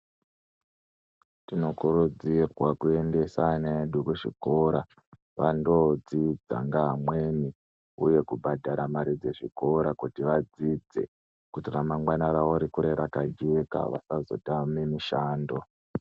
Tinokurudzirwa kuendesa vana vedu kuzvikora vandodzidza ngava mweni uye kubhadhara mare dzechikora kuti vadzidze kuti ramangwani ravo rikure rakajeka vasazotame mushando.